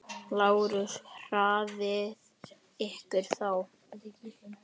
LÁRUS: Hraðið ykkur þá!